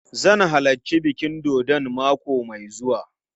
Zan halarci bikin dodon mako mai zuwa.